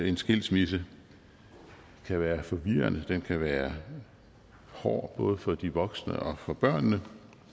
en skilsmisse kan være forvirrende den kan være hård både for de voksne og for børnene